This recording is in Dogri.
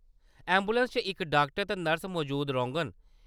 ऐंबुलैंस च इक डाक्टर ते नर्स मजूद रौह्ङन।